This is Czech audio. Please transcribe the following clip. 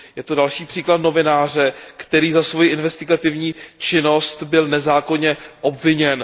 Je to další příklad novináře, který za svoji investigativní činnost byl nezákonně obviněn.